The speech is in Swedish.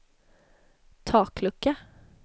taklucka